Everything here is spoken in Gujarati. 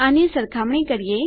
આની સરખામણી કરીએ